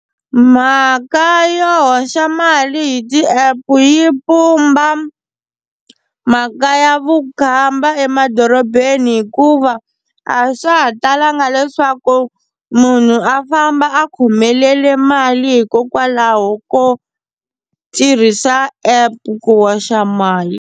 Mhaka yo hoxa mali hi ti app yi pumba mhaka ya vukhamba emadorobeni hikuva a swa ha talanga leswaku munhu a famba a khomelele mali hikokwalaho ko tirhisa app ku hoxa mali.